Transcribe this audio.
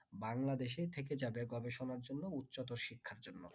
বাংলাদেশে থেকে যাদের গবেষনা জন্য উচ্চত শিক্ষার জন্য